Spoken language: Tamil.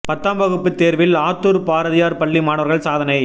பத்தாம் வகுப்பு தேர்வில் ஆத்தூர் பாரதியார் பள்ளி மாணவர்கள் சாதனை